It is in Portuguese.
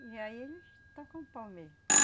E aí eles tacam o pau mesmo.